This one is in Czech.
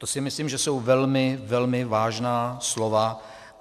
To si myslím, že jsou velmi, velmi vážná slova.